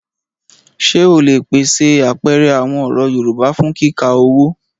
Ṣé o lè pèsè àpẹẹrẹ àwọn ọ̀rọ̀ Yorùbá fún kíkà owó?